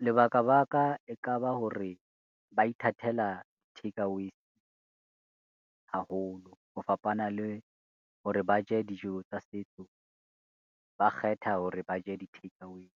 Lebaka baka e ka ba hore ba ithatela takeaways haholo, ho fapana le hore ba je dijo tsa setso, ba kgetha hore ba je di takeaways.